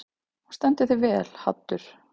Þú stendur þig vel, Haddur!